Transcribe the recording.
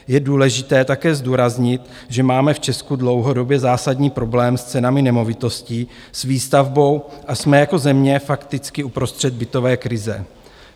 Je důležité také zdůraznit, že máme v Česku dlouhodobě zásadní problém s cenami nemovitostí, s výstavbou a jsme jako země fakticky uprostřed bytové krize.